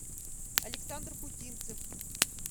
александр путинцев